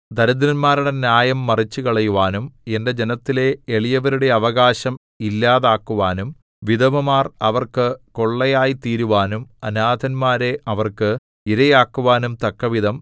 ദരിദ്രന്മാരുടെ ന്യായം മറിച്ചുകളയുവാനും എന്റെ ജനത്തിലെ എളിയവരുടെ അവകാശം ഇല്ലാതാക്കുവാനും വിധവമാർ അവർക്ക് കൊള്ളയായിത്തീരുവാനും അനാഥന്മാരെ അവർക്ക് ഇരയാക്കുവാനും തക്കവിധം